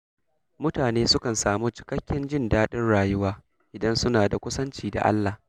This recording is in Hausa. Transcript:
Mutane sukan samu cikakken jin daɗin rayuwa idan suna da kusanci da Allah.